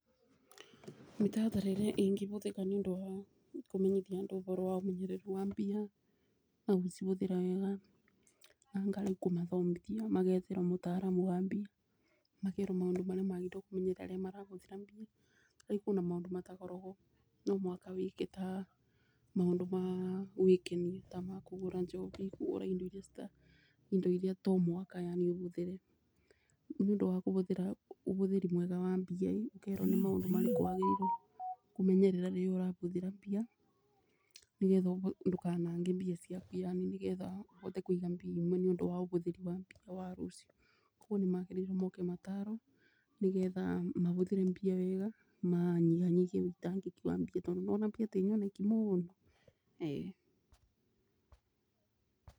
Mĩtaratara ĩrĩa ĩngĩbũthĩka nĩ ũndũ wa kũmenyithia andũ ũboro wa ũmenyeru wa mbia na gũcibũthĩra wega, anga rĩu kũmathomithia magetherwo mũtaaramu wa mbia makerwo maũndũ marĩa magĩrĩirwo kũmenyerera rĩrĩa marabũthĩra mbia, rĩngĩ kũ na maũndũ matakoragwo no mũhaka wĩke, ta maũndũ ma gũĩkenia ta ma kũgũra njobi, kũgũra indo iria to mũhaka yaani ũbũthĩre, nĩ ũndũ wa kũbũthĩra ũbũthĩri mwega wa mbia, ũkerwo nĩ maũndũ marĩkũ wagĩrĩirwo kũmenyerera rĩrĩa ũrabũthĩra mbia, nĩgetha ndũkanange mbia ciaku yaani, nĩ getha ũbote kũiga mbia imwe nĩ ũndũ ũbũthĩri wa mbia wa rũciũ. Koguo nĩ magĩrĩirwo moke matarwo, nĩgetha mabũthĩre mbia wega manyihanyihie wĩitangĩki wa mbia tondũ nĩ wona mbia tĩ nyoneki mũno? ee.